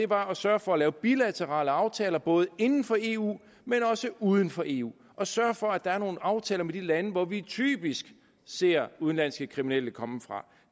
var at sørge for at lave bilaterale aftaler både inden for eu men også uden for eu og sørge for at der er nogle aftaler med de lande hvor vi typisk ser udenlandske kriminelle komme fra